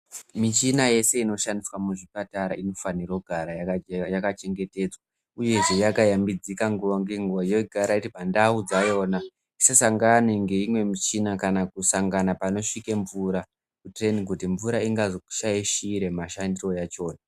Michina yese inoshande muzvipatara inofana kugara yakachengeteka uyehe yakayambidzika nguva ngenguva yogara iri pandau dzayona isasangana neimwe michina kana kusangana panosvika mvura ngekuti mvura ingazoshaishira mashandire ayona .